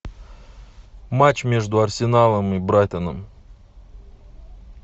матч между арсеналом и брайтоном